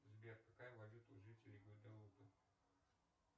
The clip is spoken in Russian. сбер какая валюта у жителей гваделупы